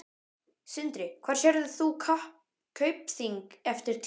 Sindri: Hvar sérð þú Kaupþing eftir tíu ár?